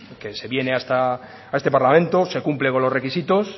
que se viene a este parlamento se cumple con los requisitos